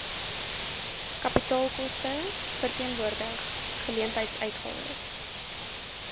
kapitaalkoste verteenwoordig geleentheidsuitgawes